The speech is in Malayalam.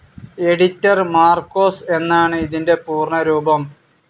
എഡിറ്റർ മാർക്കോസ് എന്നാണ് ഇതിൻ്റെ പൂർണരൂപം.